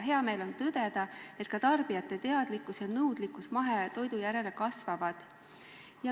Hea meel on tõdeda, et ka tarbijate teadlikkus ja nõudlus mahetoidu järele kasvab.